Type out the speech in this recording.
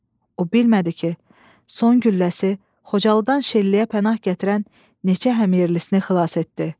O bilmədi ki, son gülləsi Xocalıdan Şəlliyə pənah gətirən neçə hamyerlisini xilas etdi.